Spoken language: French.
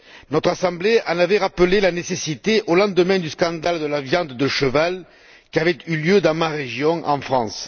Notre assemblée en avait rappelé la nécessité au lendemain du scandale de la viande de cheval survenu dans ma région en France.